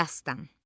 Dastan.